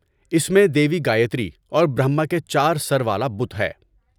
اس میں دیوی گایتری اور برہما کے چار سر والا بت ہے۔